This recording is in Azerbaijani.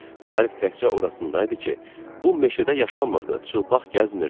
Fərq təkcə orasında idi ki, bu meşədə yaşanmırdı, çılpaq gəzmirdi.